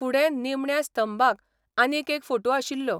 फुडें निमण्या स्तंभांत आनीक एक फोटू आशिल्लो.